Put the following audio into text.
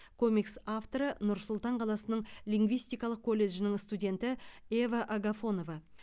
комикс авторы нұр сұлтан қаласының лингвистикалық колледжінің студенті ева агафонова